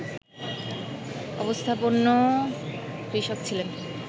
অবস্থাপন্ন কৃষক ছিলেন